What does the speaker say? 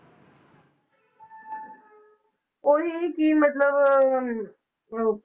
ਉਹੀ ਕਿ ਮਤਲਬ ਅਹ